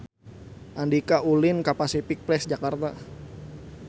Andika ulin ka Pasific Place Jakarta